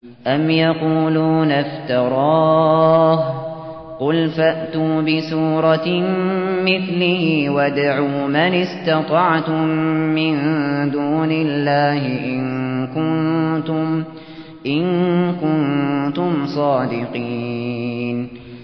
أَمْ يَقُولُونَ افْتَرَاهُ ۖ قُلْ فَأْتُوا بِسُورَةٍ مِّثْلِهِ وَادْعُوا مَنِ اسْتَطَعْتُم مِّن دُونِ اللَّهِ إِن كُنتُمْ صَادِقِينَ